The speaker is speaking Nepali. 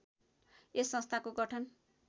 यस संस्थाको गठन